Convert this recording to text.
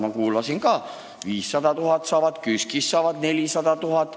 Ma kuulasin ka: 500 000 saavad, KÜSK-ist saavad 400 000.